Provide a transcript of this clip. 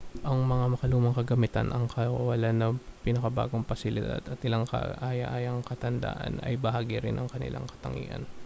ang mga makalumang kagamitan ang kawalan ng pinakabagong pasilidad at ilang kaaya-ayang katandaan ay bahagi rin ng kanilang katangian